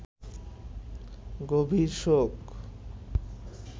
গভীর শোক